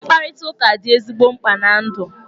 Mkparịtụka dị ezigbo mkpa na ndụ.